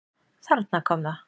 Þarna kom það!